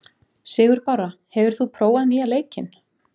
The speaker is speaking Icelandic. Sigurbára, hefur þú prófað nýja leikinn?